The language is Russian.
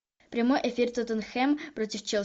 прямой эфир тоттенхэм против челси